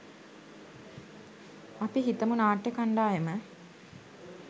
අපි හිතමු නාට්‍ය කණ්ඩායම